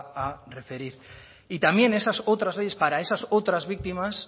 a referir y también esas otras leyes para esas otras víctimas